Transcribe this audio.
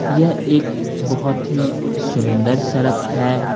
यह एक बहुत ही सुंदर सड़क है।